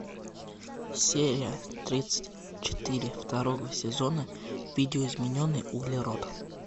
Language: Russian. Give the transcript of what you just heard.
серия тридцать четыре второго сезона видоизмененный углерод